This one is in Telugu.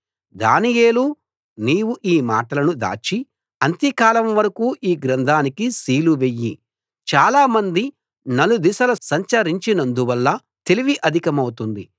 దానియేలూ నీవు ఈ మాటలను దాచి అంత్యకాలం వరకూ ఈ గ్రంథానికి సీలు వెయ్యి చాలామంది నలుదిశల సంచరించినందువల్ల తెలివి అధికమవుతుంది